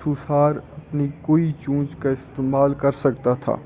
سوسار اپنی قوی چونچ کا استعمال کرسکتا تھا